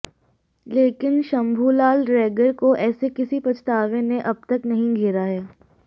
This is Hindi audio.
लेकिन शंभुलाल रैगर को ऐसे किसी पछतावे ने अब तक नहीं घेरा है